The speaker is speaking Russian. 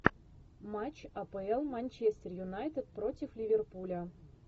матч апл манчестер юнайтед против ливерпуля